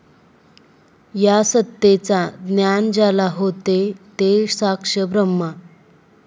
या सत्तेचा ज्ञान ज्याला होते ते साक्ष ब्रह्मा.